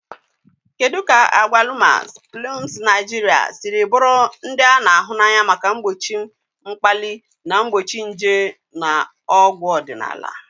Kedu ka agwalumas, plums Naijiria siri bụrụ ndị a na-ahụ n'anya maka mgbochi mkpali na mgbochi nje na ọgwụ ọdịnala?.